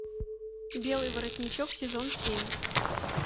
белый воротничок сезон семь